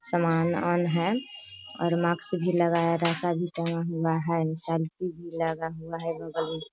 सामान उमान है और मास्क भी लगाया रस्सा भी टाँगा हुआ है सब्जी भी लगा हुआ है बगल में।